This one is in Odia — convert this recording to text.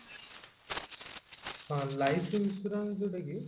ହଁ life insurance ଯୋଉଟା କି